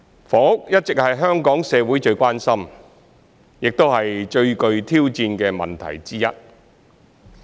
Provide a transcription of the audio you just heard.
房屋一直是香港社會最關心、亦是最具挑戰的問題之一。